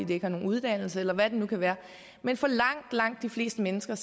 de ikke har nogen uddannelse eller hvad det nu kan være men langt langt de fleste mennesker